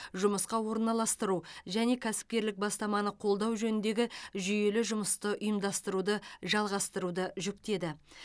жұмысқа орналастыру және кәсіпкерлік бастаманы қолдау жөніндегі жүйелі жұмысты ұйымдастыруды жалғастыруды жүктеді